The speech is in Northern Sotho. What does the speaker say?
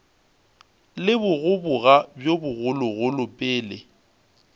le bogoboga bjo bogologolo pele